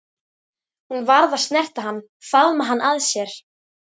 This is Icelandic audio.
Hún varð að snerta hann, faðma hann að sér.